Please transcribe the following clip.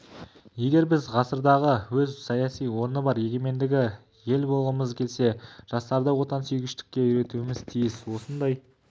егер біз ғасырдағы өз саяси орны бар егеменді ел болғымыз келсе жастарды отансүйгіштікке үйретуіміз тиіс осындай